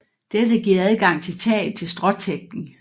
Dette giver adgang til taget til stråtækning